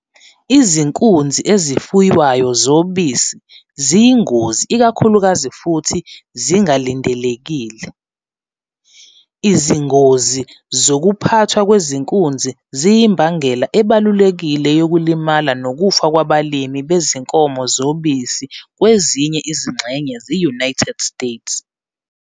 Izinkunzi ezifuywayo zobisi ziyingozi ikakhulukazi futhi zingalindelekile, izingozi zokuphathwa kwezinkunzi ziyimbangela ebalulekile yokulimala nokufa kwabalimi bezinkomo zobisi kwezinye izingxenye ze-United States.